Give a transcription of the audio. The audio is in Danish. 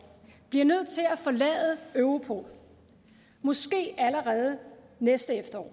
bliver nødt til at forlade europol måske allerede næste efterår